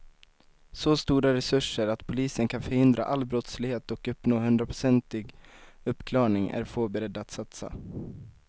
Så stora resurser att polisen kan förhindra all brottslighet och uppnå hundraprocentig uppklarning är få beredda att satsa.